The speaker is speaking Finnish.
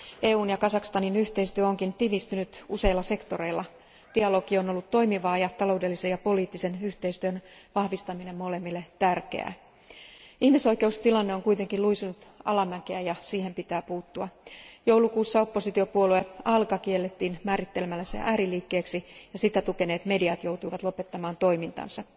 EUn ja Kazakstanin yhteistyö onkin tiivistynyt useilla sektoreilla, dialogi on ollut toimivaa, ja taloudellisen poliittisen yhteistyön vahvistaminen molemmille tärkeää. Ihmisoikeustilanne on kuitenkin luisunut alamäkeä, ja siihen pitää puuttua. Joulukuussa oppositiopuolue Alga kiellettiin määrittelemällä se ääriliikkeeksi, ja sitä tukeneet mediat joutuivat lopettamaan toimintansa.